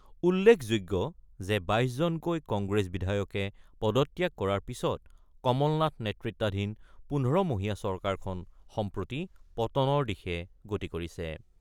উল্লেখযোগ্য যে ২২ জনকৈ কংগ্ৰেছ বিধায়কে পদত্যাগ কৰাৰ পিছত কমলনাথ নেতৃত্বাধীন ১৫ মহীয়া চৰকাৰখন সম্প্ৰতি পতনৰ দিশে গতি কৰিছে।